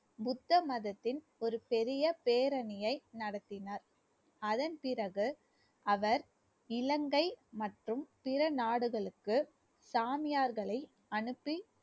புத்த மதத்தின் ஒரு பெரிய பேரணியை நடத்தினார் அதன் பிறகு அவர் இலங்கை மற்றும் பிற நாடுகளுக்கு சாமியார்களை அனுப்பி